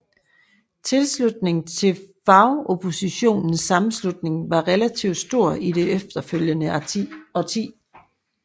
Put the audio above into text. Tilslutningen til Fagoppositionens Sammenslutning var relativt stor i det efterfølgende årti